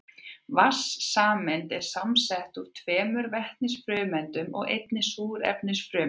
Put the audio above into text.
Vatnssameind eru samsett úr tveimur vetnisfrumeindum og einni súrefnisfrumeind.